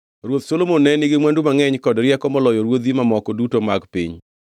Ruoth Solomon ne nigi mwandu mangʼeny kod rieko moloyo ruodhi mamoko duto mag piny.